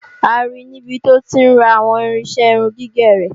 A ri níbi tó ti ń ra àwọn irinṣẹ́ irun gígẹ̀ rẹ̀.